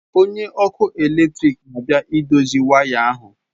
Onye ọkụ eletrik na-abịa idozi waya ahu.